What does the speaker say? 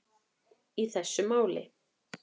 í þessu máli.